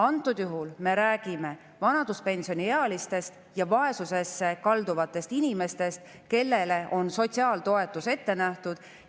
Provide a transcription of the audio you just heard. Antud juhul me räägime vanaduspensioniealistest ja vaesusesse kalduvatest inimestest, kellele on sotsiaaltoetus ette nähtud.